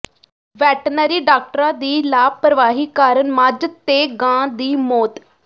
veterinary ਡਾਕਟਰਾਂ ਦੀ ਲਾਪ੍ਰਵਾਹੀ ਕਾਰਨ ਮੱਝ ਤੇ ਗਾਂ ਦੀ ਮੌਤ